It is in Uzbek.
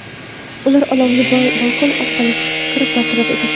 Ular olovni balkon orqali kirib bartaraf etishdi.